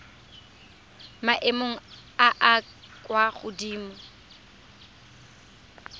maemong a a kwa godimo